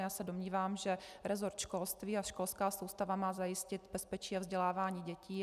Já se domnívám, že resort školství a školská soustava má zajistit bezpečí a vzdělávání dětí.